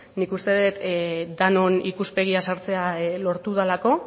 nik uste dut denon ikuspegia sartzea lortu delako